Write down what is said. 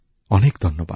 অনেক ধন্যবাদ